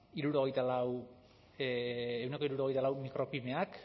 ehuneko hirurogeita lau micropymeak